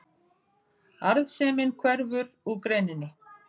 Arðsemin hverfur úr greininni